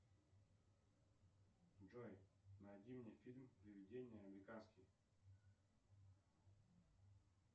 джой найди мне фильм приведения американские